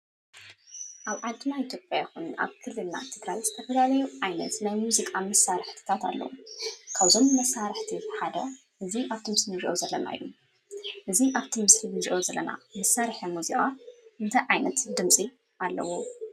ኣብ ዓድና ኢትዮጵያ ይኹን ኣብ ክልልና ትግራይ ዝተፈላለዩ ዓይነት ናይ ሙዚቃ መሳርሕታት ኣለዉ። ካብዞም መሳርሕታት ሓደ እዚ ኣብቲ ምስሊ እንሪኦ ዘለና እዩ። እዚ ኣብቲ ምስሊ እንሪኦ ዘለና መሳርሒ ሙዚቃ እንታይ ዓይነት ድምፂ ኣለዎ?